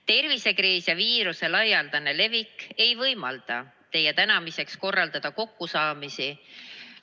Tervisekriis ja viiruse laialdane levik ei võimalda teie tänamiseks korraldada kokkusaamisi.